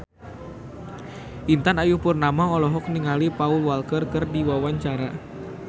Intan Ayu Purnama olohok ningali Paul Walker keur diwawancara